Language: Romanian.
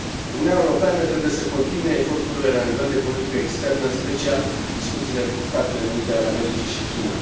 Uniunea Europeană trebuie să continue eforturile la nivel de politică externă, în special discuțiile cu Statele Unite ale Americii și China.